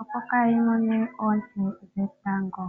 opo kaa yi mone oonte dhetango.